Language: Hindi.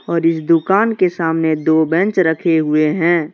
और इस दुकान के सामने दो बेंच रखे हुए हैं।